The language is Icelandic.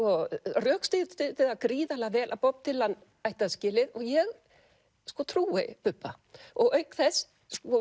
rökstuddi það gríðarlega vel að Bob Dylan ætti það skilið og ég sko trúi Bubba og auk þess